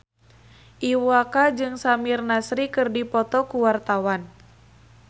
Iwa K jeung Samir Nasri keur dipoto ku wartawan